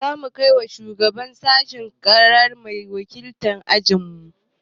Za mu kai wa shugaban sashinmu ƙarara mai wakiltar ajinmu.